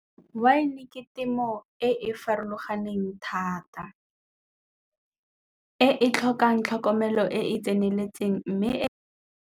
Wine ke temo e e farologaneng thata, e e tlhokang tlhokomelo e e tseneletseng mme e.